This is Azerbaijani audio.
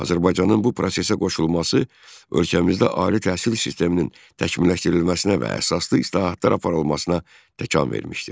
Azərbaycanın bu prosesə qoşulması ölkəmizdə ali təhsil sisteminin təkmilləşdirilməsinə və əsaslı islahatlar aparılmasına təkan vermişdir.